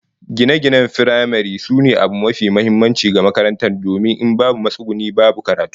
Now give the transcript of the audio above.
Gine-ginen makarantar firamare sune abu mafi muhimmanci ga makarantar domin in babu matsuguni, babu karatu